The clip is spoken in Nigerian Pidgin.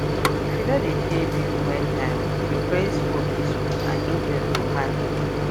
if you no dey pay bill when time reach your credit score fit spoil and interest go high well